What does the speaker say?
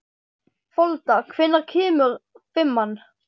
Folda, hvenær kemur fimman?